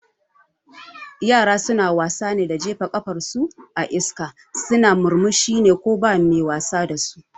Yara suna wasa ne da jefa kafar su a iska suna murmushi ko ba mai wasa dasu